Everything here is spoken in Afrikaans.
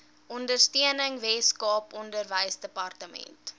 ondersteuning weskaap onderwysdepartement